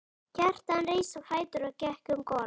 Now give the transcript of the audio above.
Kjartan reis á fætur og gekk um gólf.